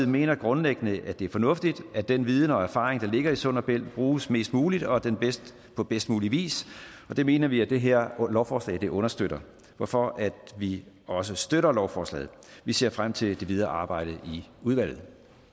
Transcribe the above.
mener grundlæggende at det er fornuftigt at den viden og erfaring der ligger i sund og bælt bruges mest muligt og på bedst mulig vis og det mener vi at det her lovforslag understøtter hvorfor vi også støtter lovforslaget vi ser frem til det videre arbejde i udvalget